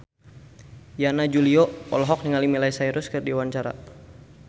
Yana Julio olohok ningali Miley Cyrus keur diwawancara